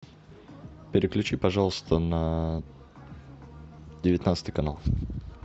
переключи пожалуйста на девятнадцатый канал